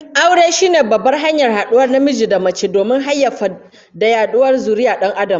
Aure shine babbar hanyar haduwar namiji da mace domin hayayyafa da yaduwar zurriyyar Dan Adam